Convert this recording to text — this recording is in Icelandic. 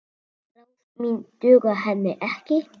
Ráð mín duga henni ekki.